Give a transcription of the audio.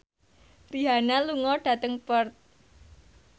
Rihanna lunga dhateng Perth